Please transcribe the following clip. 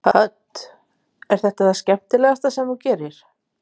Hödd: Er þetta það skemmtilegasta sem þú gerir?